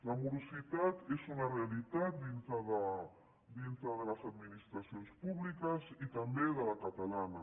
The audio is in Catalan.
la morositat és una realitat dintre de les administracions públiques i també de la catalana